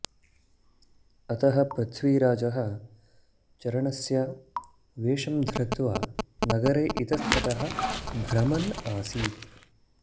अतः पृथ्वीराजः चारणस्य वेशं धृत्वा नगरे इतस्तः भ्रमन् आसीत्